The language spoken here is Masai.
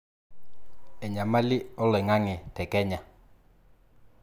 enyamali oloing'ang'e te Kenya